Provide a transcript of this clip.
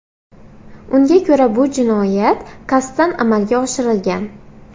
Unga ko‘ra, bu jinoyat qasddan amalga oshirilgan.